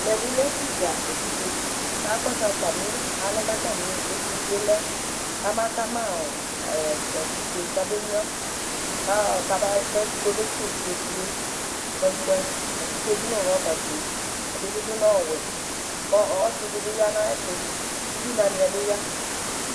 ɛmɛbi lɛ ɛfʊɗɑ ɛvidzɛ kɑkoọsu ɑlɛ kɑtɑmiɛtʊsɛlẽ ƙɑmɑkɑmɑ ɑtikɛ kɑmɛɲuɑ kẽtʊkọmɛsɛ ɛvidzɛ kpəmkpəm ɑtikẹ ɗu ṛɔbɑli fʊɛɛɗibiɗʊ řọbɑ wʊɛ kɔsiɗibiyɑ ɲɑyétʊ ʊviɲɑɲié biyɑ